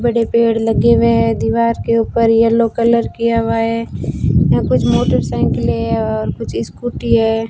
बड़े पेड़ लगे हुए हैं दीवार के ऊपर येलो कलर किया हुआ है यहां कुछ मोटरसाइकिलें है और कुछ स्कूटी है।